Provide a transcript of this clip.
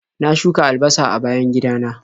Na shuka albasa a bayan gidana.